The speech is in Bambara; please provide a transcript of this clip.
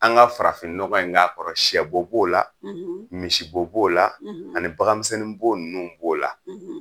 An ka farafinnɔgɔ in k'a kɔrɔ siyɛbo b'o la misibo b'o la ani baganmisɛn b'o ninnu b'o la